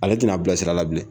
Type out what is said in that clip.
Ale tɛna n'a bila sira la bilen.